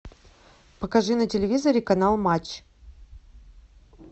покажи на телевизоре канал матч